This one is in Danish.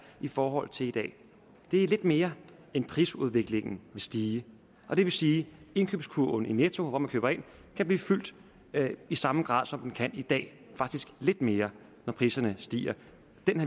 i forhold til i dag det er lidt mere end prisudviklingen vil stige og det vil sige at indkøbskurven i netto eller hvor man køber ind kan blive fyldt i samme grad som den kan i dag faktisk lidt mere når priserne stiger